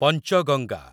Panchganga